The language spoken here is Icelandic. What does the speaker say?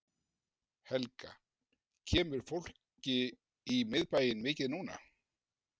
Helga: Kemur fólki í miðbæinn mikið núna?